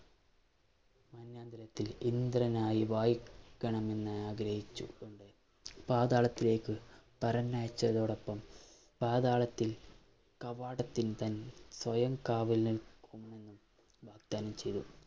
ഇന്ദ്രനായി വാഴ~ക്കണമെന്ന് ആഗ്രഹിച്ചുകൊണ്ട് പാതാളത്തിലേക്ക് പറഞ്ഞയച്ചതോടൊപ്പം പാതാളത്തിൽ കവാടത്തിൽ തന്നെ സ്വയം കാവൽ നിൽക്കുമെന്നും വാഗ്ദാനം ചെയ്തു